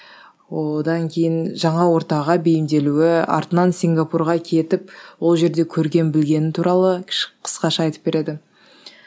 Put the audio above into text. одан кейін жаңа ортаға бейімделуі артынан сингапурға кетіп ол жерде көрген білгені туралы қысқаша айтып береді